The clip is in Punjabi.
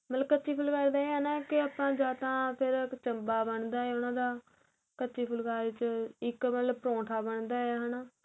ਮਤਲਬ ਕੱਚੀ ਫੁਲਕਾਰੀ ਦਾ ਏਹ ਹੈ ਨਾ ਕਿ ਆਪਾ ਜਾਂ ਤਾਂ ਫ਼ਿਰ ਇੱਕ ਚੰਬਾ ਬਣਦਾ ਉਹਨਾ ਦਾ ਕੱਚੀ ਫੁਲਕਾਰੀ ਵਿੱਚ ਇੱਕ ਪਰੋਠਾ ਏਹ ਹੈਨਾ